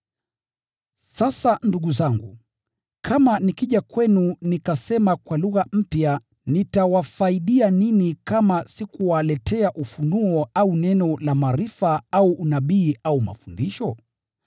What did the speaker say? Sasa ndugu zangu, kama nikija kwenu nikasema kwa lugha mpya nitawafaidia nini kama sikuwaletea ufunuo au neno la maarifa au unabii au mafundisho?